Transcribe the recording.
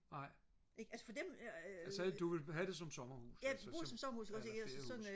nej altså så du vil have det som sommerhus altså som eller flere huse